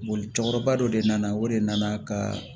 Boli cɛkɔrɔba dɔ de nana o de nana ka